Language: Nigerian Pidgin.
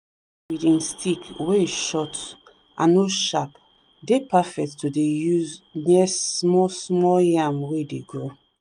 that weeding stick wey short and no sharp dey perfect to dey use near small small yam wey dey grow